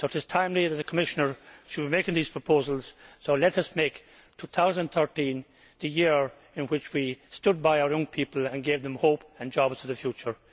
It is timely that the Commissioner should be making these proposals, so let us make 2013 the year in which we stood by our young people and gave them hope and jobs for the future.